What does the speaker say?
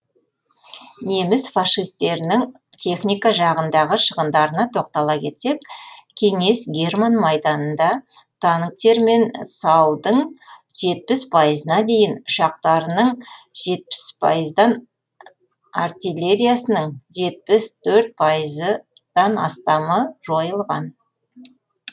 неміс фашистерінің техника жағындағы шығындарына тоқтала кетсек кеңес герман майданында танктре мен сау дың жетпіс пайызына дейін ұшақтарының жетпіс пайыздан артиллериясының жетпіс төрт пайыздан астамы жойылған